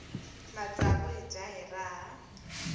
matsavu hi dya hi raha